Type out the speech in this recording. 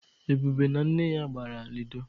Ebube na nne ya gbara lidọ.